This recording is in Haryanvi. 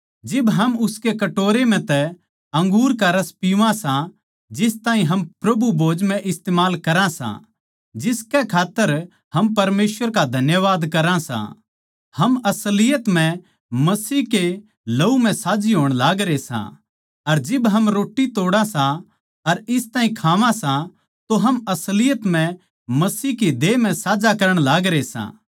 जिब हम उसके कटोरे म्ह तै अंगूर का रस पीवां सां जिस ताहीं हम प्रभु भोज म्ह इस्तमाल करां सां जिसकै खात्तर हम परमेसवर का धन्यवाद करा सां हम असलियत म्ह मसीह के लहू म्ह साझी होण लागरे सां अर जिब हम रोट्टी तोड़ा सां अर इस ताहीं खावां सां तो हम असलियत म्ह मसीह के देह म्ह साझा करण लागरे सां